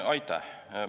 Aitäh!